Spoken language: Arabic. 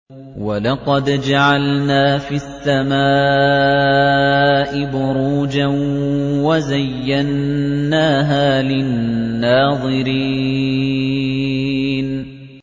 وَلَقَدْ جَعَلْنَا فِي السَّمَاءِ بُرُوجًا وَزَيَّنَّاهَا لِلنَّاظِرِينَ